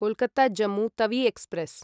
Kolkata Jammu Tawi express